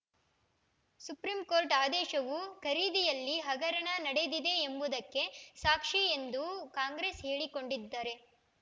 supreme ಆದೇಶವು ಖರೀದಿಯಲ್ಲಿ ಹಗರಣ ನಡೆದಿದೆ ಎಂಬುದಕ್ಕೆ ಸಾಕ್ಷಿ ಎಂದು ಕಾಂಗ್ರೆಸ್‌ ಹೇಳಿಕೊಂಡಿದ್ದರೆ